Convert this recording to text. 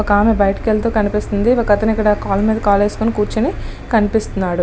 ఒక ఆమె బయట కనిపిస్తుంది. ఒక అతను ఇక్కడ కాలు మీద కాలు వేసికొన్ని కుర్చొని కనిపిస్తున్నాడు.